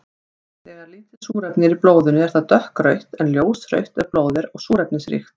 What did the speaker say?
Þegar lítið súrefni er í blóðinu er það dökkrautt en ljósrautt ef blóðið er súrefnisríkt.